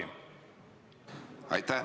Aitäh!